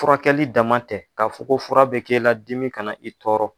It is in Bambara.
Furakɛli dama tɛ ka fɔ ko fura bɛ kela dimi kana na i tɔɔrɔ.